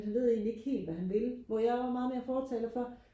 han ved egentlig ikke helt hvad han vil hvor jeg er meget mere fortaler for